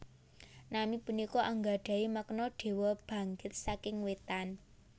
Nami punika anggadhahi makna Dewa Bangkit saking Wétan